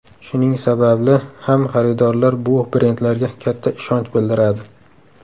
Shuning sababli ham xaridorlar bu brendlarga katta ishonch bildiradi.